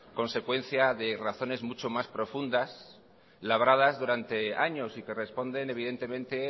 consecuencia de razones mucho más profundas labradas durante años y que responden evidentemente